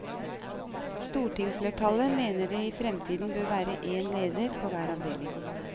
Stortingsflertallet mener det i fremtiden bør være én leder på hver avdeling.